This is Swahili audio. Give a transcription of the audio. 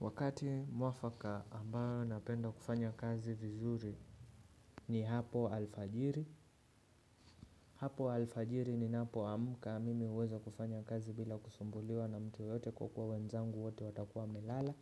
Wakati mwafaka ambayo napenda kufanya kazi vizuri ni hapo alfajiri, hapo alfajiri ni napoamka, mimi huweza kufanya kazi bila kusumbuliwa na mtu yoyote kwa kuwa wenzangu wote watakuwa melala,